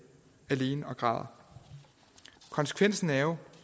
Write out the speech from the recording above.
og græder konsekvensen er jo